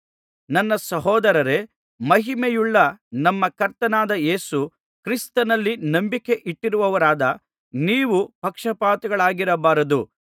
ನನ್ನ ಸಹೋದರರೇ ಮಹಿಮೆಯುಳ್ಳ ನಮ್ಮ ಕರ್ತನಾದ ಯೇಸು ಕ್ರಿಸ್ತನಲ್ಲಿ ನಂಬಿಕೆಯಿಟ್ಟವರಾದ ನೀವು ಪಕ್ಷಪಾತಿಗಳಾಗಿರಬಾರದು